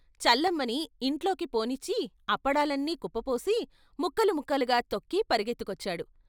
చల్లమ్మని ఇంట్లోకి పోనిచ్చి అప్పడాలన్నీ కుప్పపోసి ముక్కలు ముక్కలుగా తొక్కి పరుగెత్తుకొచ్చాడు.